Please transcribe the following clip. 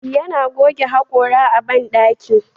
Yana goge hakora a bandaki.